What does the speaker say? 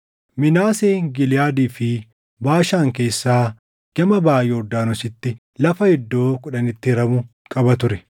Minaaseen Giliʼaadii fi Baashaan keessaa gama baʼa Yordaanositti lafa iddoo kudhanitti hiramu qaba ture.